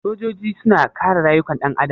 Sojoji suna kare rayukan ɗan adam?